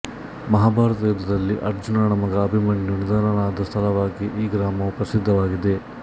ಮಹಾಭಾರತ ಯುದ್ಧದಲ್ಲಿ ಅರ್ಜುನನ ಮಗ ಅಭಿಮನ್ಯು ನಿಧನನಾದ ಸ್ಥಳವಾಗಿ ಈ ಗ್ರಾಮವು ಪ್ರಸಿದ್ಧವಾಗಿದೆ